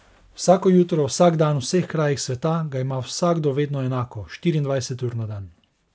Vsako jutro, vsak dan, v vseh krajih sveta, ga ima vsakdo vedno enako, štiriindvajset ur na dan.